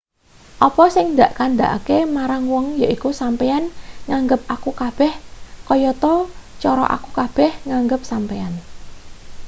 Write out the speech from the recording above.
apa sing dak kandhakake marang wong yaiku sampeyan nganggep aku kabeh kayata cara aku kabeh nganggep sampeyan